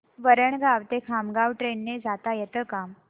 वरणगाव ते खामगाव ट्रेन ने जाता येतं का